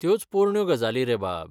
त्योच पोरण्यो गजाली रे बाब.